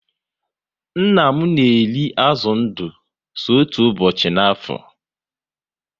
Nna m na eri azụ ndụ so otú ụbọchị ná afo